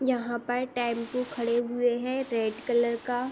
यहाँ पर टैम्पू खड़े हुए हैं रेड कलर का --